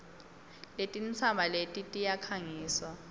letintsaba eti tiyakhangiswa